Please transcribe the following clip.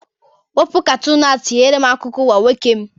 Wepu katoọnụ ahụ tinyere m akụkọ ụwa nwoke m!